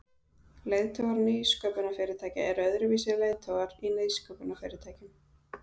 Leiðtogar nýsköpunarfyrirtækja Eru öðruvísi leiðtogar í nýsköpunarfyrirtækjum?